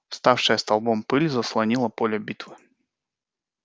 вставшая столбом пыль заслонила поле битвы